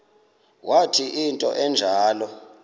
wathi into enjalo